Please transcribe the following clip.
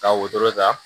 Ka wotoro ta